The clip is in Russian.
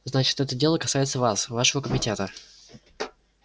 значит это дело касается вас вашего комитета